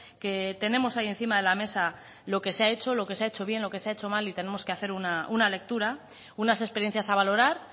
que tenemos ahí encima de la mesa lo que se ha hecho lo que se ha hecho bien lo que se ha hecho mal y tenemos que hacer una lectura unas experiencias a valorar